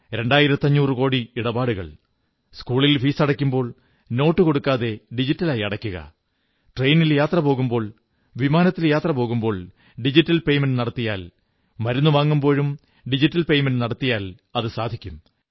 രണ്ടായിരത്തഞ്ഞൂറു കോടി ഇടപാടുകൾ സ്കൂളിൽ ഫീസടയ്ക്കുമ്പോൾ നോട്ടു കൊടുക്കാതെ ഡിജിറ്റലായി അടയ്ക്കുക ട്രയിനിൽ യാത്ര പോകുമ്പോൾ വിമാനത്തിൽ യാത്ര പോകുമ്പോൾ ഡിജിറ്റൽ പേയ്മെന്റ് നടത്തിയാൽ മരുന്നുവാങ്ങുമ്പോഴും ഡിജിറ്റൽ പേയ്മെന്റ് നടത്തിയാൽ അതു സാധിക്കും